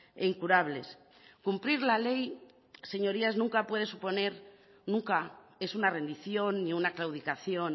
e incurables cumplir la ley señorías nunca puede suponer nunca es una rendición ni una claudicación